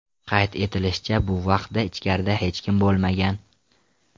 Qayd etilishicha, bu vaqtda ichkarida hech kim bo‘lmagan.